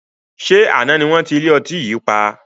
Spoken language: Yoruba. Ṣé àná ni wọn ti ilé ọtí yìí pa?